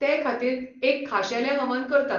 तेखातीर एक खाशेलें हवन करतात.